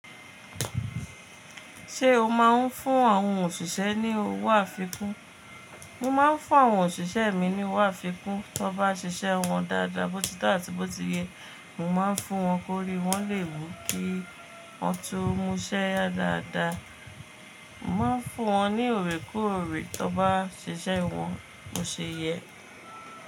Ṣé o máa ń fún àwọn òṣìṣẹ́ ní owó àfikún? Mo máa ń fún àwọn òṣìṣẹ́ mi ní owó àfikún, tí wọ́n bá ṣiṣẹ́ wọn dáadáa, bó ti to àti bó ti yẹ. Mo máa ń fún wọn kórí, wọ́n lè wú kí wọn tun múṣẹ́ ya dáadáa. Mo máa ń fún wọn ní òrè koorè tí wọ́n bá ṣiṣẹ́ wọn bó ṣe yẹ.